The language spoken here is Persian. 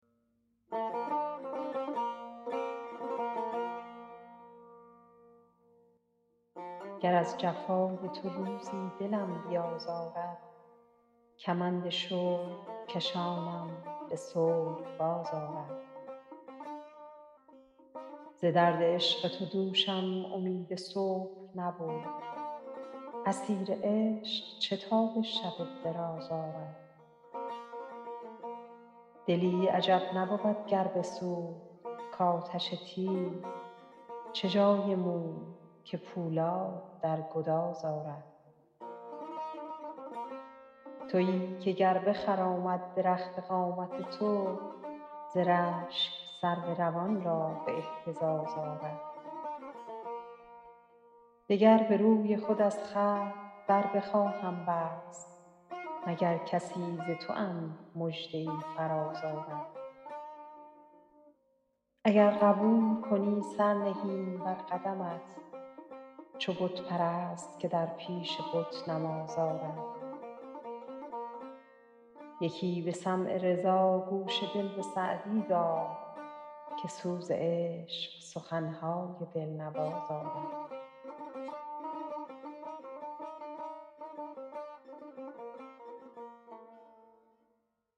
گر از جفای تو روزی دلم بیازارد کمند شوق کشانم به صلح باز آرد ز درد عشق تو دوشم امید صبح نبود اسیر عشق چه تاب شب دراز آرد دلی عجب نبود گر بسوخت کآتش تیز چه جای موم که پولاد در گداز آرد تویی که گر بخرامد درخت قامت تو ز رشک سرو روان را به اهتزاز آرد دگر به روی خود از خلق در بخواهم بست مگر کسی ز توام مژده ای فراز آرد اگر قبول کنی سر نهیم بر قدمت چو بت پرست که در پیش بت نماز آرد یکی به سمع رضا گوش دل به سعدی دار که سوز عشق سخن های دل نواز آرد